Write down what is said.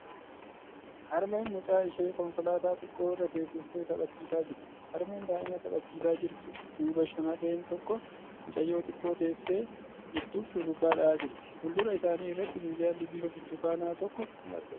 Harmeen mucaa ishee konkolaataa xiqqoo irra teessistee taphachiisaa jirti. Harmee daa'ima taphachiisaa jirtu duuba shamarreen tokko mucayyoo xiqqoo teesse jirtuuf shurrubbaa dha'aa jirti. Fuuldura isaanii irratti minjaalli bifa burtukaanaa tokko ni argama.